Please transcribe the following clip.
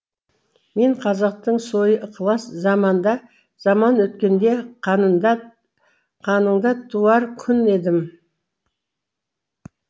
мен қазақтың сойы ықылас заманда заман өткенде қанында қаныңда туар күн едім